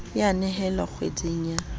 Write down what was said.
e a nehelwa kgweding ya